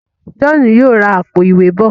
John yóò rá Àpò-ìwé bọ.